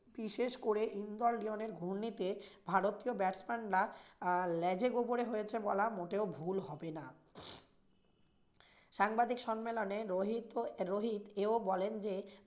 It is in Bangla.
বিশেষ করে ইন্দোর-লিওনের ঘূর্ণিতে ভারতীয় batsman রা ল্যাজে-গোবরে হয়েছে বলা মোটেও বউ হবে না। সাংবাদিক সম্মেলনে রোহিত~ রোহিত এও বলেন যে